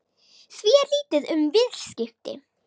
Því er lítið um viðskipti